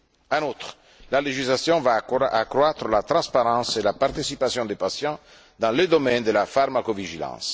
En outre, la législation va accroître la transparence et la participation des patients dans le domaine de la pharmacovigilance.